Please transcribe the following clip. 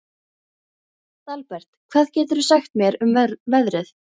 Dalbert, hvað geturðu sagt mér um veðrið?